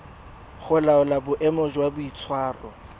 go laola boemo jwa boitshwaro